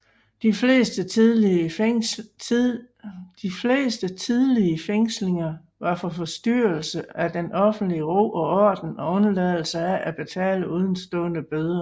De fleste tidlige fængslinger var for forstyrrelse af den offentlige ro og orden og undladelse af at betale udestående bøder